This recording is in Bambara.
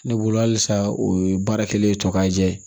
Ne bolo halisa o ye baara kɛlen ye tɔ ka jɛ ye